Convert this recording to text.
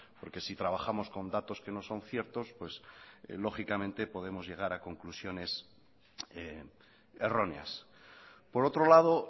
porque si trabajamos con datos que no son ciertos pues lógicamente podemos llegar a conclusiones erróneas por otro lado